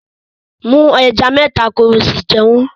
Mú ẹja mẹ́ta kí o sì jẹ wọ́n